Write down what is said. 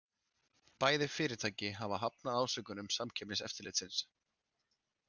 Bæði fyrirtæki hafa hafnað ásökunum Samkeppniseftirlitsins